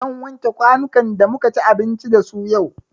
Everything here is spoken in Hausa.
Zan wanke kwanukan da muka ci abinci da su yau.